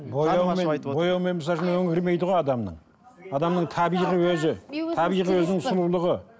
бояумен өңі кірмейді ғой адамның адамның табиғи өзі табиғи өзінің сұлулығы